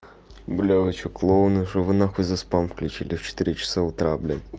бля вы что клоуны что вы на хуй за спам включили в четыре часа утра блядь